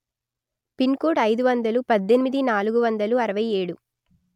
pin కోడ్అయిదు వందలు పధ్ధెనిమిది నాలుగు వందలు అరవై ఏడు